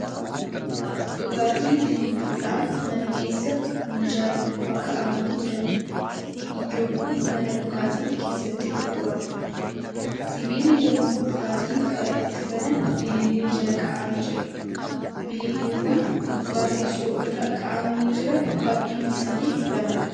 Dhugaatii bililluudhaan mana keessa minjaala gubbaa kaa'amanii jiraniidha. iddoon Kun mana dhugaatiin keessatti gurguramuudha. sibiilli yemmuu dhugaatii kana ittiin banan bilillee Jala kaa'amee jira. bililleewwan gubbaa teessoo irra kaa'amanii Jiran baay'inni isaanii lamadha.